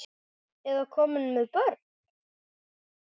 Eða komin með börn?